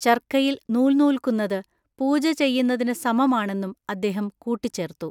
ചർക്കയിൽ നൂൽനൂൽക്കുന്നതു പൂജചെയ്യുന്നതിനു സമമാണെന്നും അദ്ദേഹം കൂട്ടിച്ചേർത്തു.